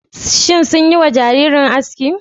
Sun yi wa jaririn aski?